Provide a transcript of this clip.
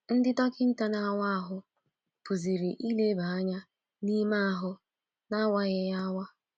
Ndị dọkịta na-awa ahụ pụziri ileba anya n’ime ahụ n’awaghị ya awa.